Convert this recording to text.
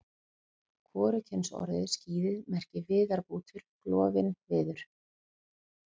Hvorugkynsorðið skíði merkir viðarbútur, klofinn viður.